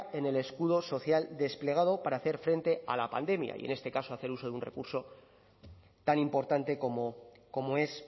en el escudo social desplegado para hacer frente a la pandemia y en este caso hacer uso de un recurso tan importante como como es